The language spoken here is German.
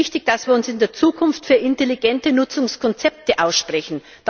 Und es ist wichtig, dass wir uns in der Zukunft für intelligente Nutzungskonzepte aussprechen.